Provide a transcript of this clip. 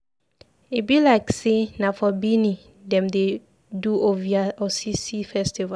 E be like sey na for Bini dem dey do Ovia Osese festival.